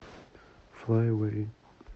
флай эвэй